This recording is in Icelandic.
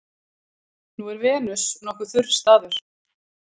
Nú er Venus nokkuð þurr staður.